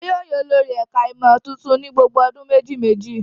Wọn yóò yan olórí ẹ̀ka-ìmọ̀ tuntun ní gbogbo ọdún méjì-mejì.